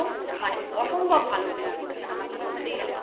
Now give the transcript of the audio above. মানে অসম্ভব ভালো অভিনয় করেছেন আমাকেই বলতেই হবে